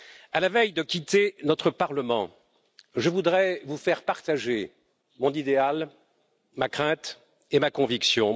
À la veille de quitter notre Parlement, je voudrais vous faire partager mon idéal, ma crainte et ma conviction.